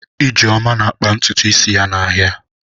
Ijeoma na-akpa ntutu isi ya n'ahịa.